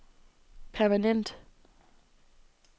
permanent